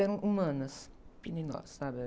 Eram humanas, sabe?